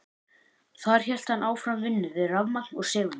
Þar hélt hann áfram vinnu við rafmagn og segulmagn.